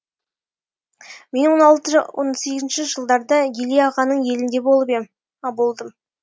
мен он алтыншы он сегізінші жылдарда еле ағаңның елінде болып едім болдым